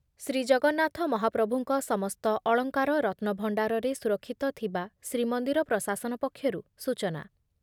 ଶ୍ରୀଜଗନ୍ନାଥ ମହାପ୍ରଭୁଙ୍କ ସମସ୍ତ ଅଳଙ୍କାର ରତ୍ନଭଣ୍ଡାରରେ ସୁରକ୍ଷିତ ଥିବା ଶ୍ରୀମନ୍ଦିର ପ୍ରଶାସନ ପକ୍ଷରୁ ସୂଚନା